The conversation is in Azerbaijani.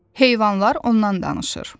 Heyvanlar ondan danışır.